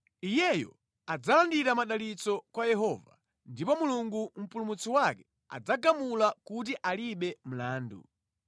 Iyeyo adzalandira madalitso kwa Yehova ndipo Mulungu mpulumutsi wake adzagamula kuti alibe mlandu.